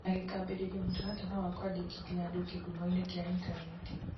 na gĩkambĩrĩria mũtaratara wa kwandĩkithia andũ kĩhumo-inĩ kĩa intaneti.